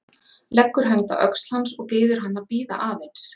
Leggur hönd á öxl hans og biður hann að bíða aðeins.